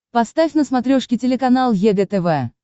поставь на смотрешке телеканал егэ тв